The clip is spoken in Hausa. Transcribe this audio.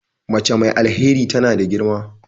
Mace mai alheri tana da girma.